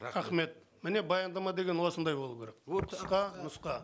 рахмет міне баяндама деген осындай болу керек ол қысқа нұсқа